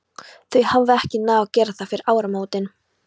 Hún hafði ekki náð að gera það fyrir áramótin.